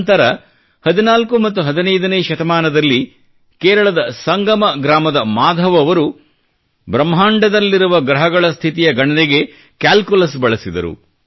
ನಂತರ 14 ಮತ್ತು 15 ನೇ ಶತಮಾನದಲ್ಲಿ ಕೇರಳದ ಸಂಗಮ ಗ್ರಾಮದ ಮಾಧವ್ ಅವರು ಬ್ರಹ್ಮಾಂಡದಲ್ಲಿರುವ ಗ್ರಹಗಳ ಸ್ಥಿತಿಯ ಗಣನೆಗೆ ಕ್ಯಾಲ್ಕುಲಸ್ ಬಳಸಿದರು